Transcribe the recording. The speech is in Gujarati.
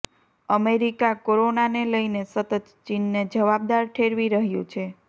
અમેરિકા કોરોનાને લઇને સતત ચીનને જવાબદાર ઠેરવી રહ્યું છે